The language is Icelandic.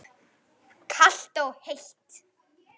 Kalt og heitt.